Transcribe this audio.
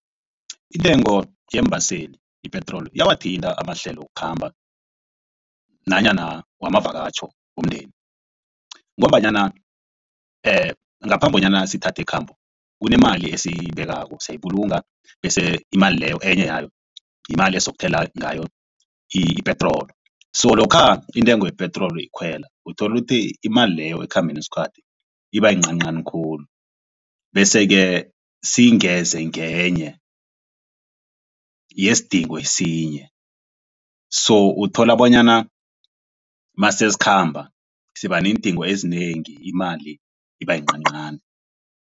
Intengo yeembaseli ipetroli iyawathinta amahlelo wokukhamba nanyana wamavakatjho womndeni ngombanyana ngaphambi bonyana sithathe ikhambo kunemali esiyibekako siyayibulunga bese imali leyo enye yayo yimali esizokuthela ngayo ipetroli, so lokha intengo yepetroli ikhwela uthole ukuthi imali leyo ekhambeni kwesikhathi iba yincancani khulu bese-ke siyingeze ngenye yesidingo esinye so uthola bonyana masesikhamba siba neendingo ezinengi imali iba yincancani.